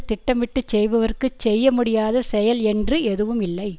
திட்டமிட்டு செய்பவர்க்குச் செய்ய முடியாத செயல் என்று எதுவும் இல்லை